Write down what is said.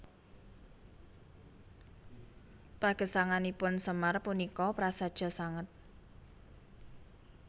Pagesanganipun Semar punika prasaja sanget